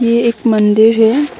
ये एक मंदिर है।